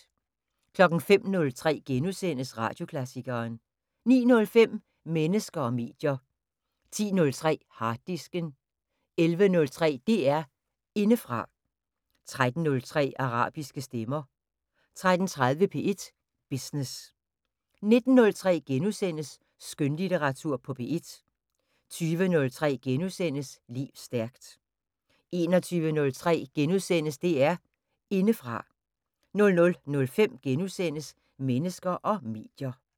05:03: Radioklassikeren * 09:05: Mennesker og medier 10:03: Harddisken 11:03: DR Indefra 13:03: Arabiske stemmer 13:30: P1 Business 19:03: Skønlitteratur på P1 * 20:03: Lev stærkt * 21:03: DR Indefra * 00:05: Mennesker og medier *